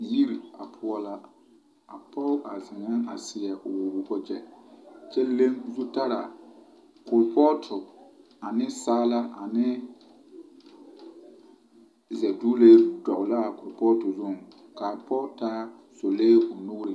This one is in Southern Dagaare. Yiri a poɔ la a pɔge a zeŋe a sew wage kyɛ leŋ zutara kulpoti ane saala ane sɛduule dul la a kulpoti zuŋ ka a pɔge taa solee o nuriŋ.